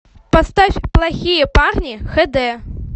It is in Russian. поставь плохие парни хд